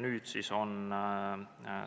Nüüd siis on